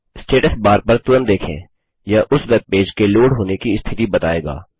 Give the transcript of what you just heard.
status bar पर तुरंत देखें यह उस वेबपेज लोड होने की स्थिति बताएगा